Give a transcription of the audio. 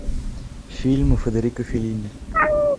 фильмы федерико феллини